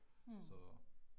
Mh